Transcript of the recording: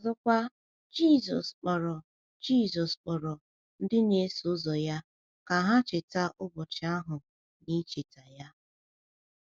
Ọzọkwa, Jizọs kpọrọ Jizọs kpọrọ ndị na-eso ya ka ha cheta ụbọchị ahụ n’icheta ya.